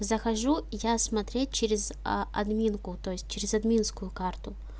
захожу я смотреть через а админку то есть через админскую карту